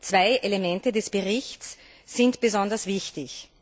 Zwei Elemente des Berichts sind besonders wichtig.